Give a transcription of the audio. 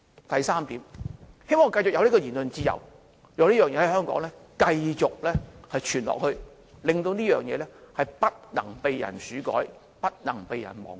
第三點，希望我們繼續有言論自由，讓這個事件繼續在香港流傳下去，不被人竄改及忘記。